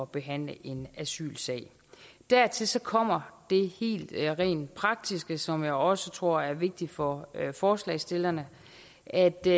behandle en asylsag dertil kommer det rent praktiske som jeg også tror er vigtigt for forslagsstillerne at det